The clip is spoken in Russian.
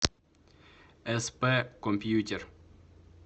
сп компьютер